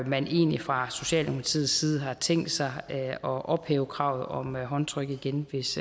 man egentlig fra socialdemokratiets side har tænkt sig at ophæve kravet om håndtryk igen hvis